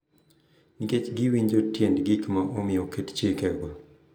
Nikech giwinjo tiend gik ma omiyo oketo chikego.